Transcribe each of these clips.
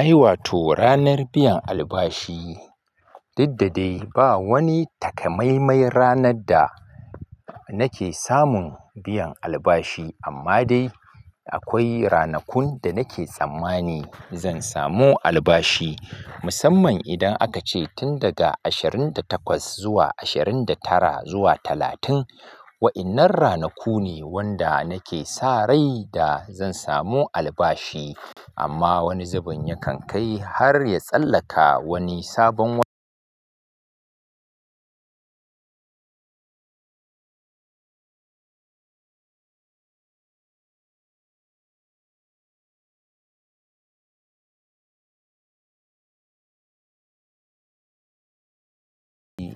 Ai wato ranar biyan albashi, didda dai ba wani takamaimai ranar da nake samun biyan albashi amma dai akwai ranakun da nake tsammani zan samu albashi. Musamman idan aka ce tun daga ashirin da takwas zuwa ashirin da tara zuwa talatin, wa'innan ranaku ne wanda nake sa rai da zan samu albashi. Amma wani zubin yakan kai har ya tsallaka wani sabon wa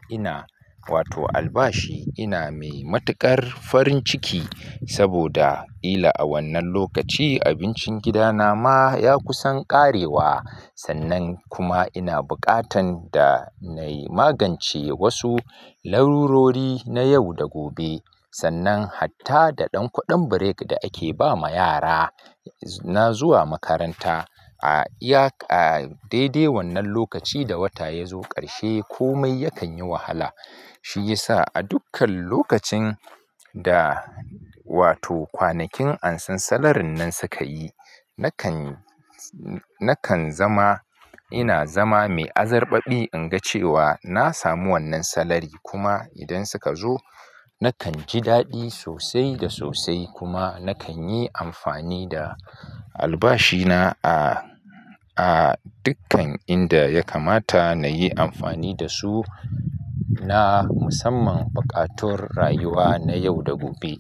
ina, wato albashi ina mai matukar farin ciki saboda ila a wannan lokaci abincin gida na ma ya kusan ƙarewa. Sannan kuma ina buƙatan da na yi magance wasu larurori na yau da gobe. Sannan hatta da ɗan kuɗin break da ake ba ma yara, na zuwa makaranta, a iya, a dai dai wannan lokaci da wata ya zo ƙarshe komai yakan yi wahala. Shi yasa a dukkan lokacin da wato kwanakin ansan salarin nan suka yi, nakan, nakan zama, ina zama mai azarɓaɓi in ga cewa na samu wannan salari kuma idan suka zo nakan ji daɗi sosai da sosai kuma nakan yi amfani da albashi na a, a dukkan inda ya kamata na yi amfani da su na musamman buƙatun rayuwa na yau da gobe.